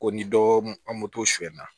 Ko ni dɔ an moto suyɛn na